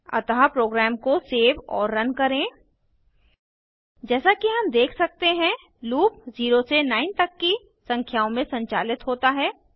अतः प्रोग्राम को सेव और रन करें जैसा कि हम देख सकते हैं लूप 0 से 9 तक की संख्याओं में संचालित होता है